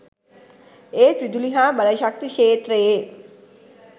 ඒත් විදුලි හා බලශක්ති ක්ෂේත්‍රයේ